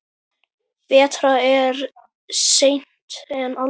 Betra er seint en aldrei!